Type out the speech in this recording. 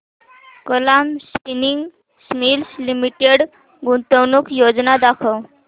Kalam spinning mills limited गुंतवणूक योजना दाखव